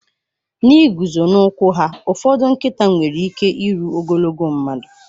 N'ịguzo n'ụkwụ ha, ụfọdụ nkịta nwere ike iru ogologo mmadụ.